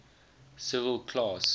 civil class